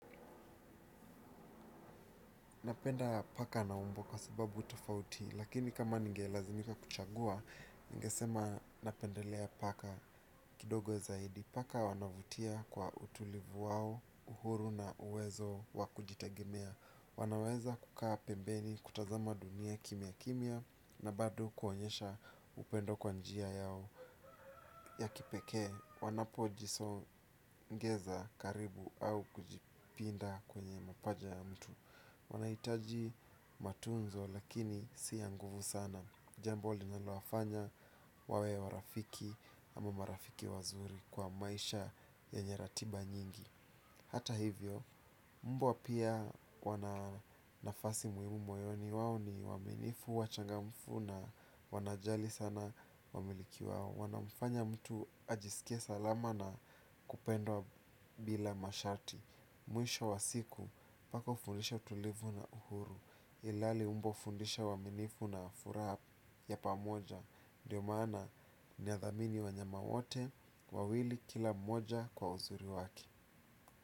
Napenda paka na umbwa kwa sababu utafauti, lakini kama ninge lazimika kuchagua, ngesema napendelea paka kidogo zaidi. Paka wanavutia kwa utulivu wao, uhuru na uwezo wa kujitegemea. Wanaweza kukaa pembeni, kutazama dunia kimia kimia na bado kuonyesha upendo kwa njia yao ya kipeke. Wanapojisongesha karibu au kujipinda kwenye mapaja ya mtu. Wanahitaji matunzo lakini si ya nguvu sana, jambo linalowafanya wawe warafiki ama marafiki wazuri kwa maisha yenye ratiba nyingi. Hata hivyo, mbwa pia wana nafasi muhimu moyoni. Wao ni waaminifu, wachangamfu na wanajali sana wamiliki wao. Wanamfanya mtu ajisikie salama na kupendwa bila masharti. Mwisho wa siku, paka hufundisha utulivu na uhuru ilhali umbwa hufundisha uaminifu na furaha ya pamoja, ndio maana nathamini wanyama wote wawili kila mmoja kwa uzuri wake.